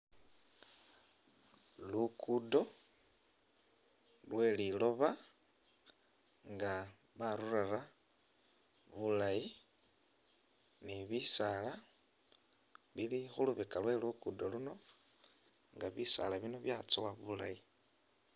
Lukudo lwe liloba nga balurara bulayi ni bisala bili khulubeka lwe lugodo luno nga bisala bino byatsowa bulayi.